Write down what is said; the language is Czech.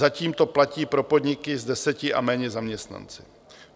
Zatím to platí pro podniky s deseti a méně zaměstnanci.